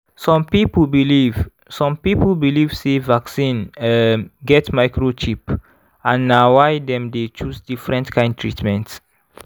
some people believe some people believe sey vaccine um get microchip and na why dem dey choose different kind treatment.